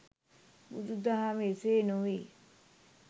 බුදු දහම එසේ නොවේ